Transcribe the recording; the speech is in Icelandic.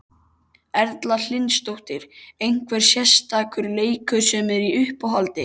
Erla Hlynsdóttir: Einhver sérstakur leikur sem er í uppáhaldi?